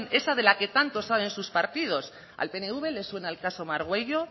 esa de la que tanto saben sus partidos al pnv le suena el caso margüello